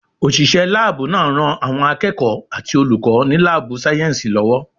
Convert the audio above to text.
Òṣìṣẹ́ láàbù náà ń ran àwọn akẹ́kọ̀ọ́ àti olùkọ́ ní láàbù sáyẹ̀nsì lọ́wọ́